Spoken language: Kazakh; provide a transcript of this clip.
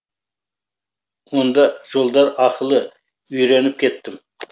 онда жолдар ақылы үйреніп кеттім